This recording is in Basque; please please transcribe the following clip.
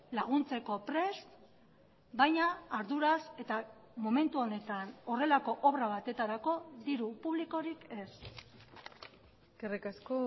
laguntzeko prest baina arduraz eta momentu honetan horrelako obra batetarako diru publikorik ez eskerrik asko